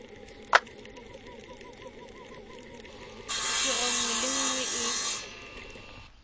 tiro nngwe le nngwe e